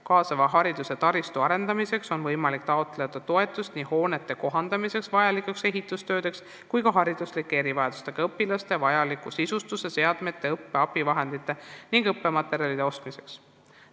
Kaasava hariduse taristu arendamiseks on võimalik taotleda toetust nii hoonete kohandamiseks vajalikeks ehitustöödeks kui ka hariduslike erivajadustega õpilastele vajaliku sisustuse, seadmete, õppe abivahendite ning õppematerjalide ostmiseks.